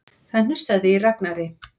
Það hnussaði í Ragnari.